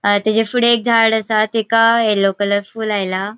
अ तेच्या फुड़े एक झाड आसा तेका येल्लो कलर फूल आयला.